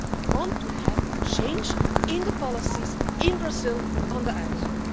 We want to have a change in the policies in Brazil on the Amazon.